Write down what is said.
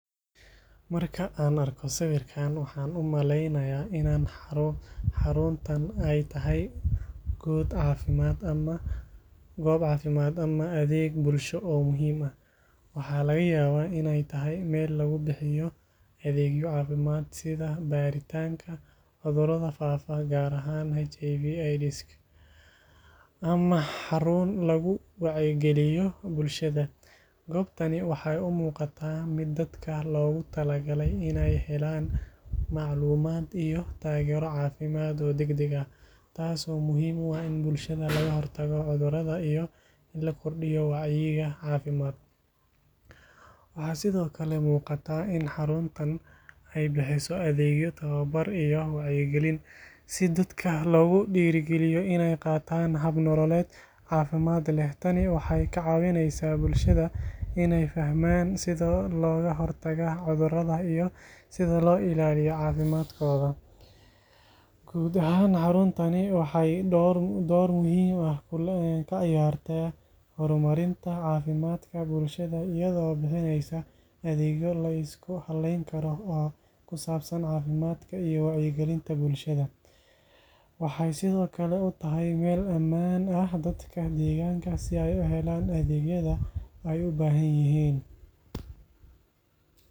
Marka aan arko sawirkan, waxaan u maleynayaa in xaruntan ay tahay goob caafimaad ama adeeg bulsho oo muhiim ah. Waxaa laga yaabaa inay tahay meel lagu bixiyo adeegyo caafimaad sida baaritaanka cudurrada faafa, gaar ahaan HIV/AIDS, ama xarun lagu wacyigeliyo bulshada. Goobtani waxay u muuqataa mid dadka loogu talagalay inay helaan macluumaad iyo taageero caafimaad oo degdeg ah, taasoo muhiim u ah in bulshada laga hortago cudurrada iyo in la kordhiyo wacyiga caafimaad. Waxaa sidoo kale muuqata in xaruntan ay bixiso adeegyo tababar iyo wacyigelin, si dadka loogu dhiirrigeliyo inay qaataan hab nololeed caafimaad leh. Tani waxay ka caawineysaa bulshada inay fahmaan sida looga hortago cudurrada iyo sida loo ilaaliyo caafimaadkooda. Guud ahaan, xaruntani waxay door muhiim ah ka ciyaartaa horumarinta caafimaadka bulshada, iyadoo bixineysa adeegyo la isku halleyn karo oo ku saabsan caafimaadka iyo wacyigelinta bulshada. Waxay sidoo kale u tahay meel ammaan ah dadka deegaanka si ay u helaan adeegyada ay u baahan yihiin.